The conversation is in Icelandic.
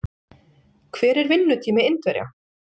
Hver er vinnutími Indverja?